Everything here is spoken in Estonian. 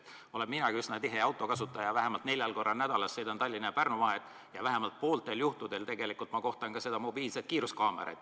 Olen minagi üsna tihe autokasutaja, vähemalt neljal korral nädalas sõidan Tallinna ja Pärnu vahet ja vähemalt pooltel juhtudel kohtan ka mobiilset kiiruskaamerat.